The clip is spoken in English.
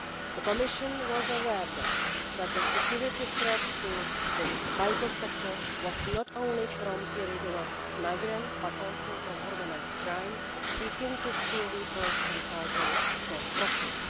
The Commission was aware then that the security threat to this vital sector was not only from irregular migrants, but also from organised crime seeking to steal vehicles and cargo for profit.